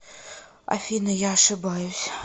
афина я ошибаюсь